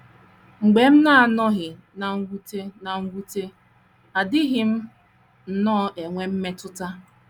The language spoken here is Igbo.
Mgbe m na - anọghị ná mwute ná mwute, adịghị m nnọọ enwe mmetụta.